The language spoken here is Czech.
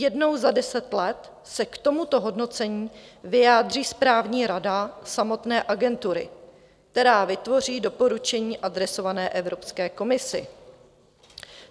Jednou za deset let se k tomuto hodnocení vyjádří správní rada samotné Agentury, která vytvoří doporučení adresované Evropské komisi.